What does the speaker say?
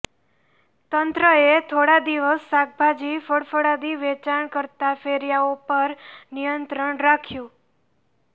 તંત્ર એ થોડા દિવસ શાકભાજી ફળફળાદી વેચાણ કરતાં ફેરિયાઓ પર નિયંત્રણ રાખ્યું